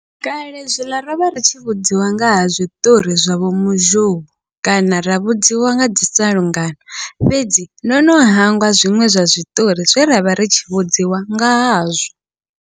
Kale zwiḽa rovha ri tshi vhudziwa ngaha zwiṱori zwa vho muzhou, kana ra vhudziwa ngadzi salungano fhedzi ndo no hangwa zwiṅwe zwa zwiṱori zwe ravha ri tshi vhudziwa nga hazwo.